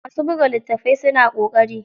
Masu buga litattafai suna ƙoƙari.